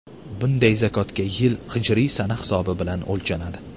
Bunday zakotga yil hijriy sana hisobi bilan o‘lchanadi.